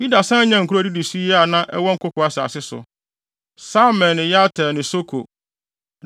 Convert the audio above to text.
Yuda san nyaa nkurow a edidi so yi a na ɛwɔ nkoko asase so: Samir ne Yatir ne Soko,